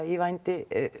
í vændi